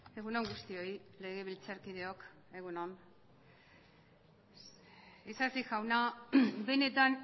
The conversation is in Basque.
egun on guztioi legebiltzarkideok egun on isasi jauna benetan